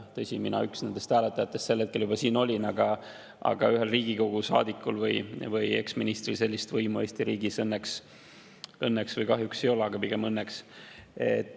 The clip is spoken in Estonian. Tõsi, mina üks hääletajatest sel hetkel juba siin olin, aga ühel Riigikogu saadikul või eksministril sellist võimu Eesti riigis õnneks – õnneks või kahjuks, aga pigem õnneks – ei ole.